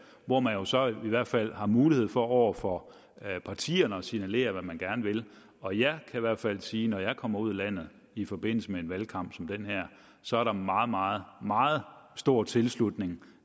hvor man jo så i hvert fald har mulighed for over for partierne at signalere hvad man gerne vil og jeg kan i hvert fald sige når jeg kommer ud i landet i forbindelse med en valgkamp som den her at så er der meget meget meget stor tilslutning